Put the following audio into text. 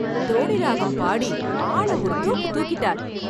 தோடி ராகம் பாடி ஆள ஒரு தூக்கு தூக்கிட்டார்!